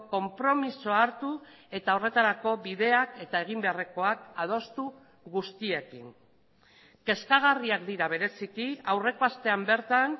konpromisoa hartu eta horretarako bideak eta egin beharrekoak adostu guztiekin kezkagarriak dira bereziki aurreko astean bertan